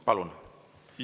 Palun!